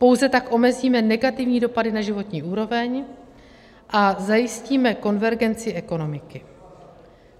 Pouze tak omezíme negativní dopady na životní úroveň a zajistíme konvergenci ekonomiky.